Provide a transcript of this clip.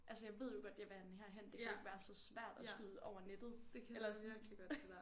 Altså jeg ved jo godt jeg vil have den her hen det kan jo ikke være så svært at skyde over nettet eller sådan